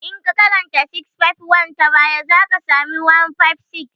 In ka karanta 651 ta baya, za ka sami 156